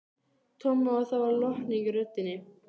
Tommi og það var lotning í röddinni.